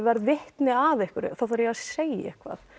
verð vitni að einhverju þá þarf ég að segja eitthvað